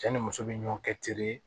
Cɛ ni muso bɛ ɲɔ kɛ teri ye